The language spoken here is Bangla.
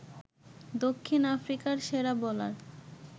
দক্ষিণ আফ্রিকার সেরা বোলার